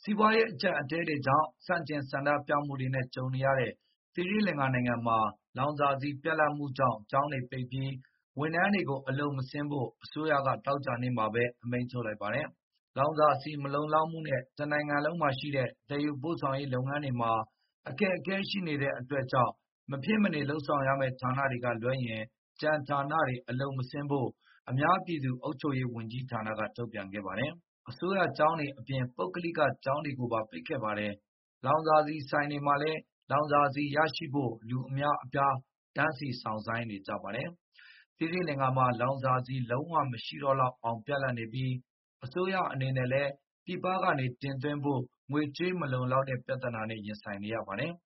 ီးပွားရေး အကျပ်အတည်းကြောင့် ဆန့်ကျင်ဆန္ဒပြမှုတွေနဲ့ ကြုံနေရတဲ့ သီရိလင်္ကာနိုင်ငံမှာ လောင်စာ ဆီပြတ်လတ်မှုကြောင့် ကျောင်းတွေပိတ်ပြီး၊ ဝန်ထမ်းတွေကိုလည်း အလုပ်မဆင်းဖို့ အစိုးရက သောကြာနေ့ကပဲ အမိန့်ထုတ်လိုက်ပါတယ်။ လောင်စာဆီ မလုံလောက်မှုနဲ့ တနိုင်ငံလုံးမှာရှိတဲ့ သယ်ယူပို့ဆောင်ရေးလုပ်ငန်းတွေမှာ အခက်အခဲရှိတဲ့အတွက်ကြောင့်၊ မဖြစ်မနေလုပ်ဆောင်ရမယ့် ဌာနတွေကလွဲရင် ကျန် ဌာနတွေ အလုပ်မဆင်းဖို့ အများ ပြည်သူအုပ်ချုပ်ရေးဝန်ကြီးဌာန ကထုတ်ပြန်ခဲ့ပါတယ်။ အစိုးရကျောင်းတွေအပြင် ပုဂ္ဂလိကကျောင်းတွေပါ ပိတ်ခဲ့ပါတယ်။ လောင်စာဆီဆိုင်တွေမှာလည်း လောင်စာဆီရရှိဖို့ လူအများအပြား တန်းစီစောင့်ဆိုင်းနေကြပါတယ်။ သီရိလင်္ကာမှာ လောင်စာဆီ လုံးဝမရှိတော့လောက်အောင် ပြတ်လတ်နေပြီး၊ အစိုးရ အနေနဲ့လည်း ပြည်ပကနေ တင်သွင်းဖို့ ငွေကြေးမလုံလောက်တဲ့ ပြဿနာနဲ့ ရင်ဆိုင်နေရပါတယ်။